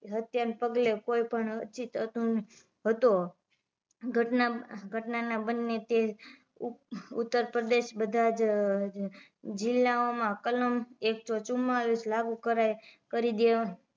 હત્યા ના પગલે કોઈ પણ અછીત હતો ઘટના ઘટના ના બંને તે ઉતરપ્રદેશ બધા જ જિલ્લા ઓ માં કલમ એક સો ચુમ્બાલીસ લાગુ કરાઇ કરી દેવા